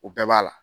O bɛɛ b'a la